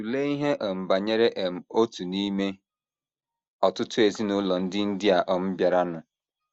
Tụlee ihe um banyere um otu n’ime ọtụtụ ezinụlọ ndị India um bịaranụ.